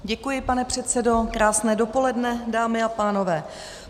Děkuji, pane předsedo, krásné dopoledne dámy a pánové.